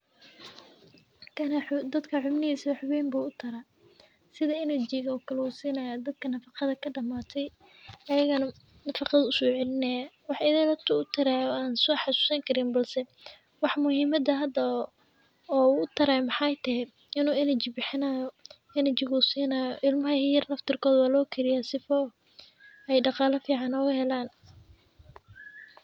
Kana wuxuu dadka xubnihi wax weyn buu u tara? Sida energy u kalluu seeynaa dadka nafaqada ka dhammaantay. aygan nafaqad usoo elinaye. Waxay idil ah u taray aan soo xasuusan karin balse. Wax muhiimada hadda oo u taraay maxaa tahay inuu energy bixinaayo. energy si inay ilmaha yeer nafta koor waa loo kiri doonaa sifoo ay dhaqaale fiican uga helan.